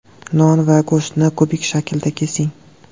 Non va go‘shtni kubik shaklida kesing.